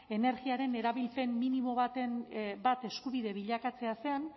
energiaren erabilpen minimo bat eskubide bilakatzea zen